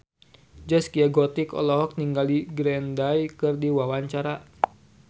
Zaskia Gotik olohok ningali Green Day keur diwawancara